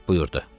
Şah buyurdu: